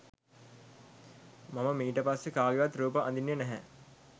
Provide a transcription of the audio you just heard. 'මම මීට පස්සෙ කාගෙවත් රූප අඳින්නෙ නැහැ.